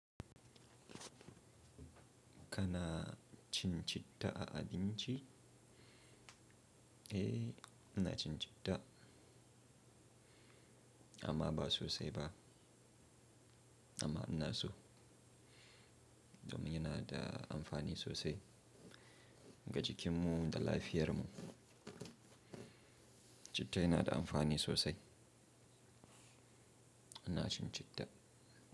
Kana cin citta a abin ci? Eh, ina cin citta amma ba sosai ba amma ina so domin yana da amfani sosai ga jikinmu da lafiyarmu. Cittar yana da amfani sosai. Ina cin citta.